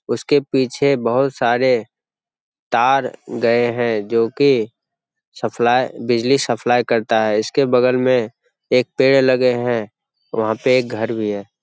उसके पीछे बहुत सारे तार गए हैं जो की सप्लाई बिजली सप्लाई करता है। इसके बगल में एक पेड़ लगे हैं। वहाँ पे एक घर भी है।